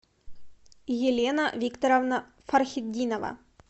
елена викторовна фархетдинова